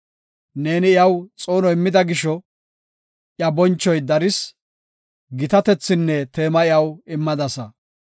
Neeni iyaw xoono immida gisho, iya bonchoy daris; gitatethinne teema iyaw immadasa.